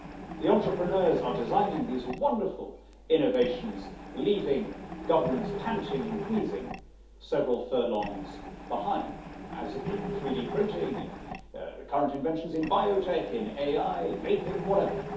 The entrepreneurs are designing these wonderful innovations, leaving governments panting and wheezing several furlongs behind as in 3D printing, the current inventions in biotech, in AI, vaping, whatever.